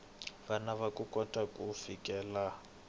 vana ku kota ku fikelela